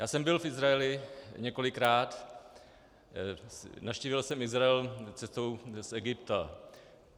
Já jsem byl v Izraeli několikrát, navštívil jsem Izrael cestou z Egypta.